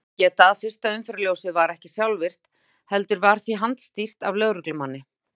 Þess má geta að fyrsta umferðarljósið var ekki sjálfvirkt heldur var því handstýrt af lögreglumanni.